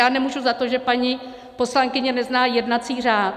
Já nemůžu za to, že paní poslankyně nezná jednací řád.